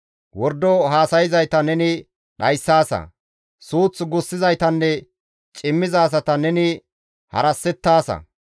Wordo haasayzayta neni dhayssaasa. Suuth gussizaytanne cimmiza asata neni harasettaasa.